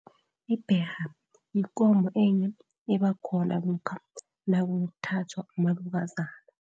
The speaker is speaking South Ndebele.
Ibherha yikomo enye eba khona lokha nakuthathwa umalukazana.